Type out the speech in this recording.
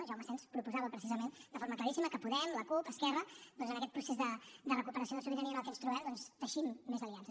jaume asens proposava precisament de forma claríssima que podem la cup esquerra en aquest procés de recuperació de sobirania en què ens trobem teixim més aliances